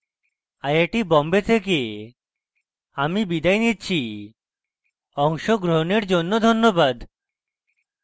I I T Bombay থেকে আমি বিদায় নিচ্ছি অংশগ্রহনের জন্য ধন্যবাদ